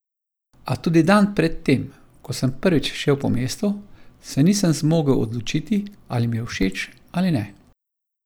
A tudi dan pred tem, ko sem prvič šel po mestu, se nisem zmogel odločiti, ali mi je všeč ali ne.